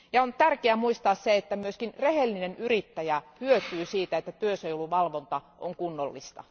On tärkeää muistaa se, että myös rehellinen yrittäjä hyötyy siitä, että työsuojeluvalvonta on kunnollista.